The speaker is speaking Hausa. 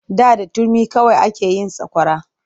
Da da turmi kawai ake yin sakwara.